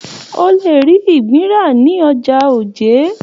O le ri ìgbín ra ní ọjà Oje.